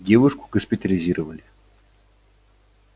девушку госпитализировали